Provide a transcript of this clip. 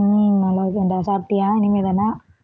உம் நல்ல இருக்கேன்டா சாப்பிட்டியா இனிமே தானா